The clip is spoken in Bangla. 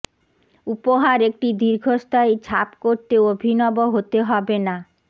উপহার একটি দীর্ঘস্থায়ী ছাপ করতে অভিনব হতে হবে না